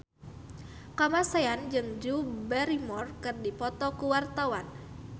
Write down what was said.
Kamasean jeung Drew Barrymore keur dipoto ku wartawan